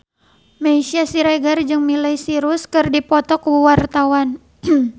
Meisya Siregar jeung Miley Cyrus keur dipoto ku wartawan